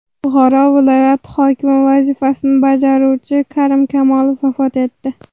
Buxoro viloyati hokimi vazifasini bajaruvchi Karim Kamolov vafot etdi.